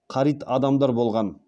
қарит адамдар болған